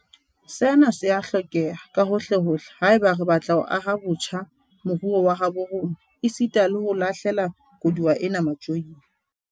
Sena se a hlokeha kahohlehohle haeba re batla ho aha botjha moruo wa habo rona esita le ho lahle la koduwa ena matjoing.